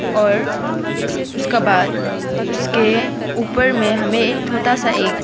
और उसका बाद उसके ऊपर में हमें छोटा सा एक--